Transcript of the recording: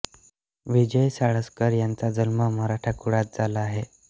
विजय साळसकर यांचा जन्म मराठा कुळात झाला आहे